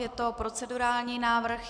Je to procedurální návrh.